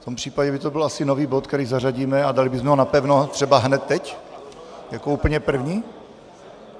V tom případě by to asi byl nový bod, který zařadíme, a dali bychom ho napevno třeba hned teď jako úplně první?